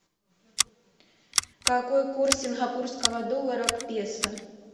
какой курс сингапурского доллара к песо